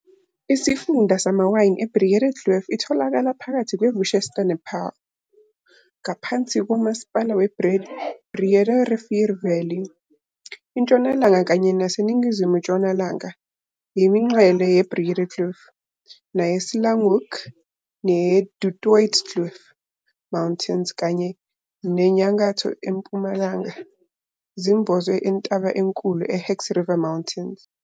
Isifunda samawayini iBreedekloof itholakala phakathi kwe Worcester nePaarl, ingaphansi komasipala we Breede River Valley. Intshonalanga kanye nase ningizimu tshonalanga yemingcele yeBreedekloof, neyeSlanghoek, neyeDu Toitskloof Mountains kanye nenyakatho Mpumalanga zimbozwe intaba enkulu iHex River Mountains.